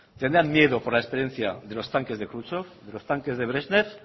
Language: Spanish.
tenían miedo por la experiencia de los tanques de kruschev de los tanques de brezhnev